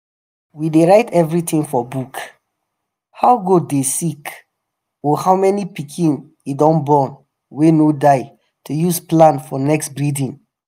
we dey write everything for book—how goat dey sick or how many pikin e don born wey no die to use plan next breeding.